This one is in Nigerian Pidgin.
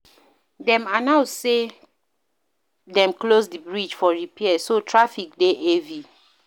Dem announce sey dem close di bridge for repair, so traffic dey heavy.